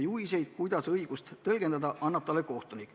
Juhiseid, kuidas õigust tõlgendada, annab talle kohtunik.